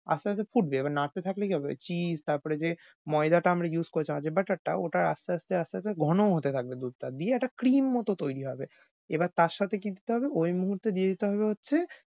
আস্তে আস্তে ফুটবে। এবার নাড়তে থাকলেই হবে। cheese তারপর ঐ যে ময়দাটা আমরা use করেছিলাম যে butter টা ওটা আস্তে আস্তে আস্তে আস্তে ঘন হতে থাকবে। দুধটা দিয়ে একটা cream মত তৈরী হবে। এবার তার সাথে কী দিতে হবে ঐ মুহূর্তে দিয়ে দিতে হবে হচ্ছে